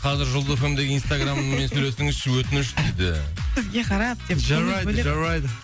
қазір жұлдыз эф эм дегі инстаграмыммен сөйлесіңізші өтініш дейді жарайды жарайды